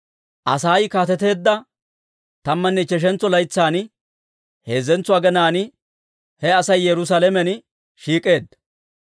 Asay kaateteedda tammanne ichcheshantso laytsan, heezzentso aginaan he Asay Yerusaalamen shiik'eedda.